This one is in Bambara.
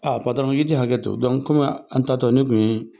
Aa patɔrɔn, i ti hakɛ to dɔɔni , kɔmi an tatɔ ne tun ye